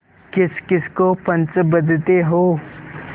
किसकिस को पंच बदते हो